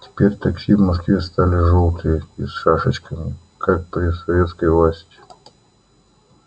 теперь такси в москве стали жёлтые и с шашечками как при советской власти